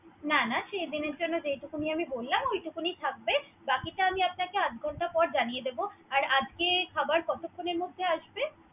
না না, সেই দিনের জন্য আমি বললাম। ওইটুকুনি থাকবে। বাকিটা আমি আপনাকে আধঘন্ট পর জানিয়ে দিবো। আর আজকে খাবার কতখুনের মধ্যে আসবে।